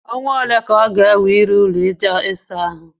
Ọnwa ole ka ọ ga-ewe ịrụ ụlọ ịsa ahụ?